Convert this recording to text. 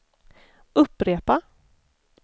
upprepa